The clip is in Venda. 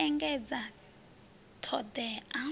d o engedzedza t hodea